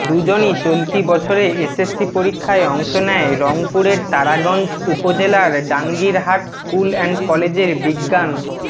দুজনই চলতি বছরে এসএসসি পরীক্ষায় অংশ নেয় রংপুরের তারাগঞ্জ উপজেলার ডাংগীরহাট স্কুল অ্যান্ড কলেজের বিজ্ঞান